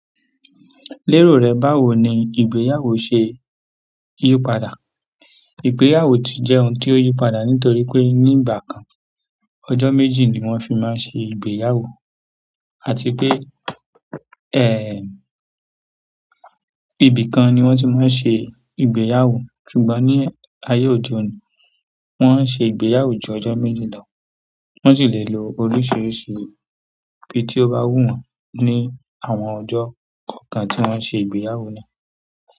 Lero re báwo ni ìgbéyàwó se yípadà. Ìgbéyàwó ti jẹ́ ohun tí ó yípadà nítorí pé ní ìgbà kan, ọjọ́ mẹ́ji ni wọ́n fi máa ń ṣe ìgbéyàwó àti pé, ẹ, ibi kan ni wọ́n ti máa ń ṣe ìgbéyàwó. Ṣùgbọ́n ní ayé òde òní, wọ́n ń ṣe ìgbéyàwó ju ọjọ́ méjì lọ. Wọ́n sì lè lo oríṣiríṣi ibi tí ó bá wù wọ́n ní àwọn ọjọ́ kọ̀ọ̀kan tí wọ́n ṣe ìgbéyàwó na.